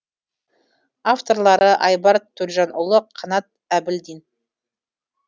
авторлары айбар төлжанұлы қанат әбілдин